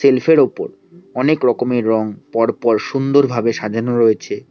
Self এর ওপর অনেক রকমের রং পর পর সুন্দর ভাবে সাজানো রয়েছে।